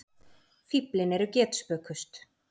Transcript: Fíflin eru getspökust.